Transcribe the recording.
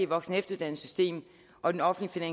voksen og efteruddannelsessystem og den offentlige